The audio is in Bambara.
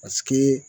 Paseke